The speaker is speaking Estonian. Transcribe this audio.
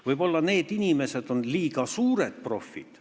Võib-olla need inimesed, kes tekste koostavad, on liiga suured profid.